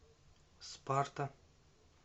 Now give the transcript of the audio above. спарта